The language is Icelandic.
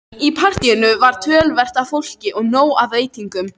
Í partíinu var töluvert af fólki og nóg af veitingum.